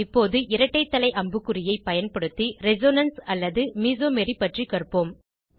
இப்போது இரட்டை தலை அம்புக்குறியை பயன்படுத்தி ரெசோனன்ஸ் அல்லது மெசோமரி பற்றி காண்போம்